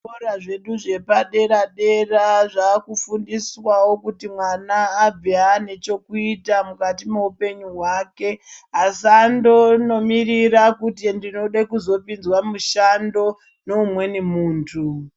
Zvikora zvedu zvepa dera dera zvaku fundiswawo kuti mwana abve ane chekuita mukati me hupenyu hwake asandono mirira kuti ndinode kuzo pinzwa mushando ne umweni muntu.